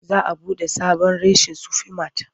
Za a buɗe sabon reshen Sufi mat.